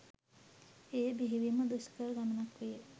එය බෙහෙවින් ම දුෂ්කර ගමනක් විය.